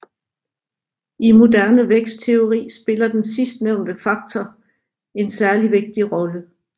I moderne vækstteori spiller den sidstnævnte faktor en særlig vigtig rolle